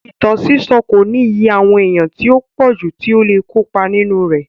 Ìtàn sísọ́ kò ní iye àwọn èèyàn tí ó pọ̀jù tí ó le kópa nínú rẹ̀.